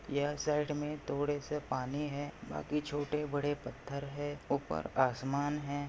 ये साइड मे थोड़े से पानी है। बाकी छोटे-बड़े पत्थर है। ऊपर आसमान है।